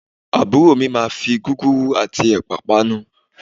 Àbúrò mi máa fi gúgúrú àti ẹ̀pà panu